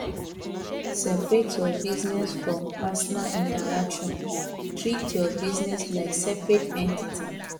seperate your business from personal interaction treat your business like separate entity